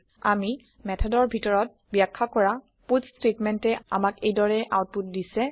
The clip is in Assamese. আমি মেথডৰ ভিতৰত বাখয়া কৰা পাটছ ষ্টেটমেণ্টে আমাক এই দৰে আওতপুট দিছে